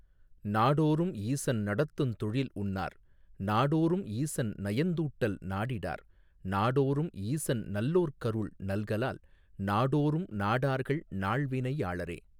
நாடோறும் ஈசன் நடத்துந் தொழில்உன்னார் நாடோறும் ஈசன் நயந்தூட்டல் நாடிடார் நாடோறும் ஈசன் நல்லோர்க்கருள் நல்கலால் நாடோறும் நாடார்கள் நாள் வினையாளரே.